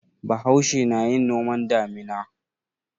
Bahaushe na yin noman damina.